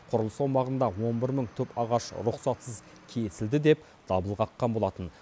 құрылыс аумағында он бір мың түп ағаш рұқсатсыз кесілді деп дабыл қаққан болатын